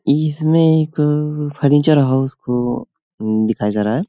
इसमें एक furniture house को दिखाया जा रहा है।